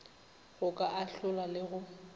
go ka ahlola le go